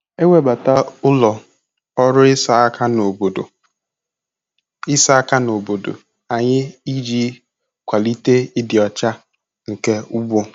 Ewebata ụlọ ọrụ ịsa aka n'obodo ịsa aka n'obodo anyị iji kwalite ịdị ọcha nke ugbo.